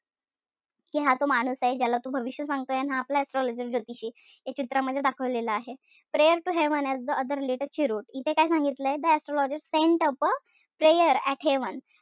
कि हा तो माणूस ए ज्याला तू भविष्य सांगतोय अन हा आपला astrologer ज्योतिषी ए. चित्रामध्ये दाखवलेलं आहे. prayer to heaven as the other lit a cheroot इथे काय सांगितलय? the astrologer sent up a prayer to heaven.